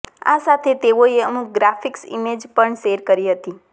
આ સાથે તેઓએ અમુક ગ્રાફિક્સ ઈમેજ પણ શેર કરી હતી